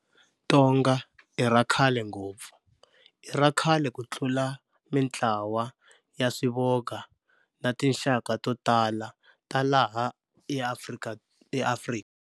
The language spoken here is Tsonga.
Tonga i ra khale ngopfu, i ra khale ku tlula mintlawa ya swivoga na tinxaka to tala ta laha eAfrika.